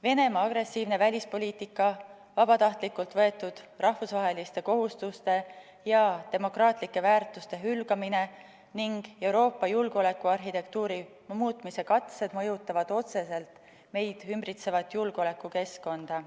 Venemaa agressiivne välispoliitika, vabatahtlikult võetud rahvusvaheliste kohustuste ja demokraatlike väärtuste hülgamine ning Euroopa julgeolekuarhitektuuri muutmise katsed mõjutavad otseselt meid ümbritsevat julgeolekukeskkonda.